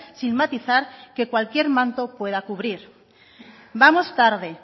sin matizar que cualquier manto pueda cubrir vamos tarde